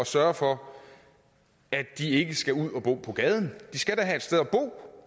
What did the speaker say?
sørge for at de ikke skal ud at bo på gaden de skal da have et sted at bo